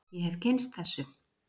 Ég hef kynnst þessu.